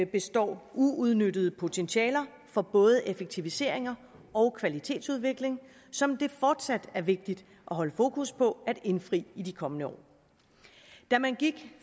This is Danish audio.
består uudnyttede potentialer for både effektiviseringer og kvalitetsudvikling som det fortsat er vigtigt at holde fokus på at indfri i de kommende år da man gik